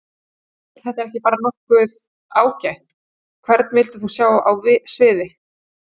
Nei er þetta ekki bara nokkuð ágætt Hvern vildir þú sjá á sviði?